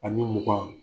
Ani mugan